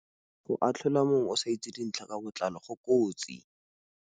Go atlhola mongwe o sa itse dintlha ka botlalo go kotsi.